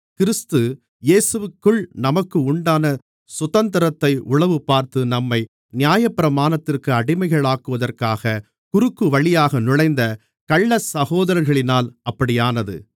கிறிஸ்து இயேசுவிற்குள் நமக்கு உண்டான சுதந்திரத்தை உளவுபார்த்து நம்மை நியாயப்பிரமாணத்திற்கு அடிமைகளாக்குவதற்காக குறுக்குவழியாக நுழைந்த கள்ளச் சகோதரர்களினால் அப்படியானது